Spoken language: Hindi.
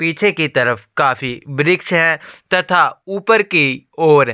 पीछे की तरफ काफी वृक्ष है तथा ऊपर की ओर--